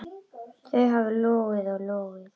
Þau hafa logið og logið.